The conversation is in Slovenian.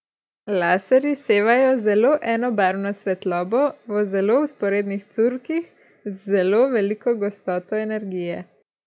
Laserji sevajo zelo enobarvno svetlobo v zelo vzporednih curkih z zelo veliko gostoto energije.